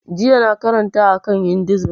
Jiya na karanta a kan hinduism